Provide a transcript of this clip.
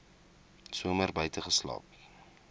somer buite geslaap